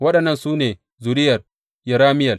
Waɗannan su ne zuriyar Yerameyel.